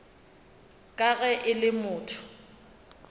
ka ge e le motho